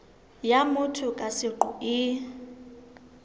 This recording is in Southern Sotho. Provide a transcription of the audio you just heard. ya motho ka seqo e